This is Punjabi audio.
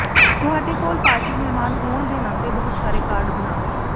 ਤੁਹਾਡੇ ਕੋਲ ਪਾਰਟੀ ਮਹਿਮਾਨ ਹੋਣ ਦੇ ਨਾਤੇ ਬਹੁਤ ਸਾਰੇ ਕਾਰਡ ਬਣਾਉ